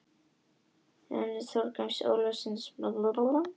Ég þakka Braga Þorgrími Ólafssyni fyrir ábendinguna.